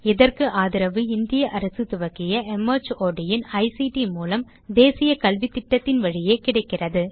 இதற்கு ஆதரவு இந்திய அரசு துவக்கிய மார்ட் இன் ஐசிடி மூலம் தேசிய கல்வித்திட்டத்தின் வழியே கிடைக்கிறது